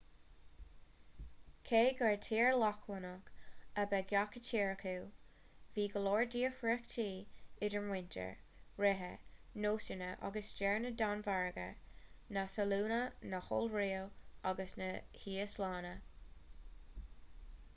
cé gur tír lochlannach' ab ea gach tír acu bhí go leor difríochtaí idir muintir ríthe nósanna agus stair na danmhairge na sualainne na hiorua agus na híoslainne